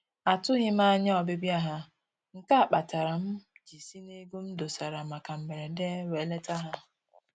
Atụghị m anya ọbịbịa ha, nke a kpatara m ji si n'ego m dosara maka mberede wee leta ha